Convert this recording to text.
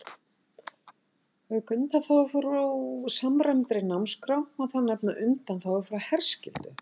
Auk undanþágu frá samræmdri námsskrá má þar nefna undanþágu frá herskyldu.